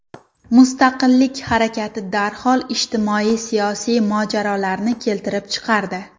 Mustaqillik harakati darhol ijtimoiy-siyosiy mojarolarni keltirib chiqardi.